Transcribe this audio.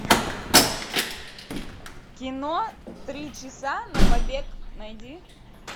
кино три часа на побег найди